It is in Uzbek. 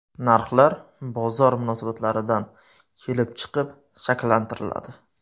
Narxlar bozor munosabatlaridan kelib chiqib shakllantiriladi.